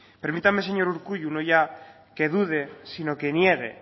permítame señor urkullu no ya que dude sino que niegue